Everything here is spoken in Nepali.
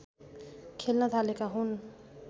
खेल्न थालेका हुन्